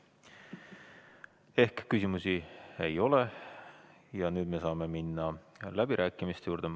Seega, küsimusi ei ole ja me saame minna läbirääkimiste juurde.